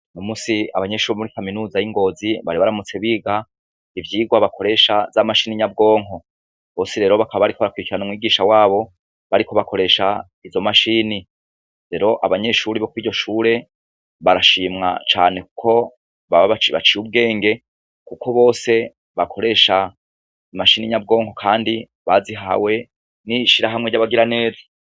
Uno musi abanyeshure bo mur kaminuza yingozi bari baramutse biga ivyirwa bakoresha imashine nyabwonko bose rero bakaba bariko barakwirikirana abigisha babo bariko bakoresha izo mashini rero abanyeshure bo kuriryo shure barashima cane kuko baba baciye ubwenge kuko bose bakoresha imashine nyabwonko bazihawe nishirahamwe ryabagira neza